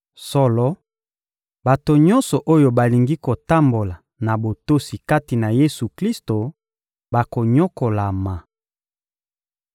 Solo, bato nyonso oyo balingi kotambola na botosi kati na Yesu-Klisto bakonyokolama.